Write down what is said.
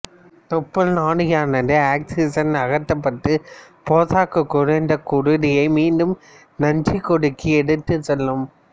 தொப்புள் நாடியானது ஆக்சிசன் அகற்றப்பட்ட போசாக்கு குறைந்த குருதியை மீண்டும் நஞ்சுக்கொடிக்கு எடுத்துச் செல்லும்